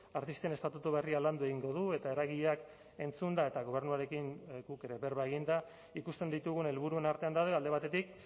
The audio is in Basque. artisten estatutu berria landu egingo du eta eragileak entzunda eta gobernuarekin guk ere berba eginda ikusten ditugun helburuen artean daude alde batetik